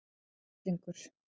Það var hryllingur.